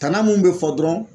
Tana mun be fɔ dɔrɔn